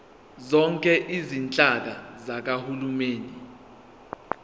zonke izinhlaka zikahulumeni